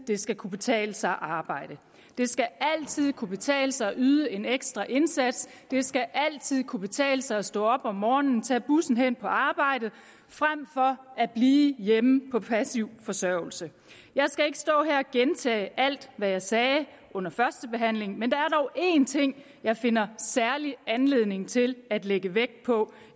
det skal kunne betale sig at arbejde det skal altid kunne betale sig at yde en ekstra indsats det skal altid kunne betale sig at stå op om morgenen og tage bussen hen på arbejdet frem for at blive hjemme på passiv forsørgelse jeg skal ikke stå her og gentage alt hvad jeg sagde under førstebehandlingen men der er dog en ting jeg finder særlig anledning til at lægge vægt på